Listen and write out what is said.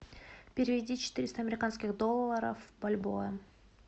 переведи четыреста американских долларов в бальбоа